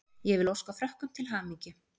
Ég vil óska Frökkum til hamingju.